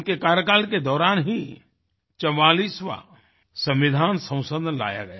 उनके कार्यकाल के दौरान ही 44वाँ संविधान संशोधन लाया गया